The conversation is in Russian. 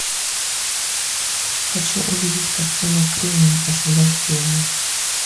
хочу увидеть картину кремень освобождение